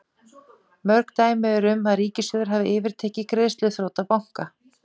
Mörg dæmi eru um að ríkissjóðir hafi yfirtekið greiðsluþrota banka.